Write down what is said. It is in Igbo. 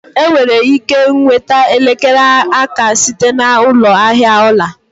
Enwere ike nweta elekere aka site na ụlọ ahịa ọla